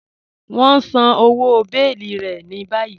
Wọn n sán ọwọ́ bèẹ̀lí rẹ̀ ní bàyìí.